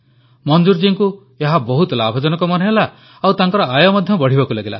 ମଂଜୁର ଜୀଙ୍କୁ ଏହା ବହୁତ ଲାଭଜନକ ମନେହେଲା ଓ ତାଙ୍କର ଆୟ ମଧ୍ୟ ବଢ଼ିବାକୁ ଲାଗିଲା